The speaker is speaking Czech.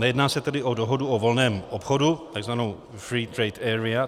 Nejedná se tedy o dohodu o volném obchodu, takzvanou free trade area.